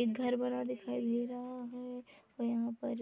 एक घर बना दिखाई दे रहा है और यहाँ पर